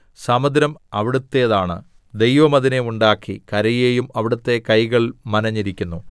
സമുദ്രം അവിടുത്തേതാണ് ദൈവം അതിനെ ഉണ്ടാക്കി കരയെയും അവിടുത്തെ കൈകൾ മനഞ്ഞിരിക്കുന്നു